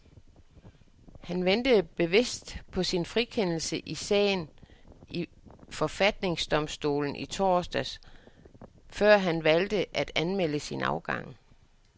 Han ventede bevidst på sin frikendelse i sagen i forfatningsdomstolen i torsdags, før han valgte at meddele sin afgang.